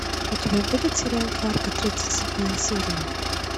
у тебя будет сериал фарго тридцать седьмая серия